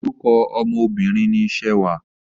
Orúkọ ọmọ Obìnrin ni Ṣewà.